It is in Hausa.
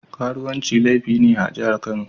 Karuwanci laifi ne a jihar Kano.